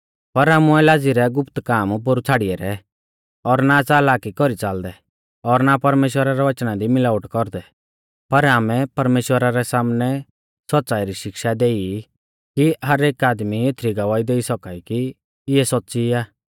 पर आमुऐ लाज़ी रै गुप्त काम पोरु छ़ाड़ी ऐरै और ना च़ालाकी कौरी च़ालदै और ना परमेश्‍वरा रै वचना दी मिलावट कौरदै पर आमै परमेश्‍वरा रै सामनै सौच़्च़ाई री शिक्षा देई कि हर एक आदमी एथरी गवाही देई सौका ई कि इऐ सौच़्च़ी आ